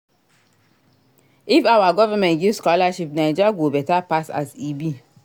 If our government give scholarship Naija go beta pass as e be.